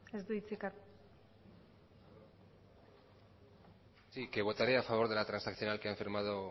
sí que votaré a través de la transaccional que han firmado